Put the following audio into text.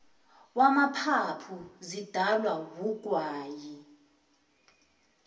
wamaphaphu zidalwa wugwayi